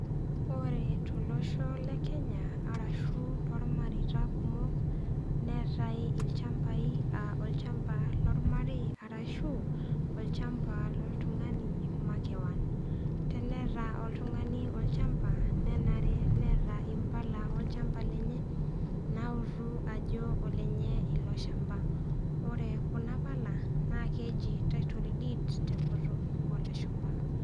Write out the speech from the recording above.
Ore tolosho le Kenya arashu toolmareita kumok, neatai ilchambai aa olchamba lolmarei arashu olchamba loltung'ani makewan teneta oltung'ani olchamba nenare neata impala olchamba lenye nautu ajo olenye ilo chamba. Ore kuna pala naa keiji title deed te enkutuk oolashumba.